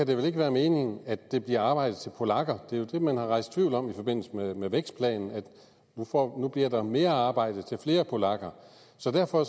det vel ikke være meningen at det bliver arbejde til polakker det er jo det man har rejst tvivl om i forbindelse med vækstplanen for nu bliver der mere arbejde til flere polakker så derfor